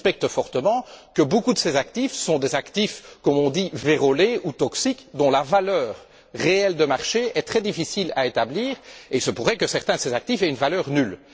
Et on suspecte fortement que beaucoup de ces actifs sont des actifs, comme on dit, vérolés ou toxiques dont la valeur réelle de marché est très difficile à établir et il se pourrait que certains de ces actifs aient une valeur nulle.